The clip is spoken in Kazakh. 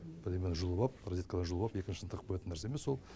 бірдемені жұлып ап розетканы жұлып ап екіншісін тығып қоятын нәрсе емес ол